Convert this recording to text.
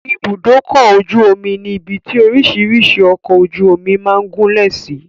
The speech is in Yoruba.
Ibùdókọ̀-ojú-omi ni ibi tí orísìírísìí ọkọ̀-ojú-omi máa ń gúlẹ̀ sí.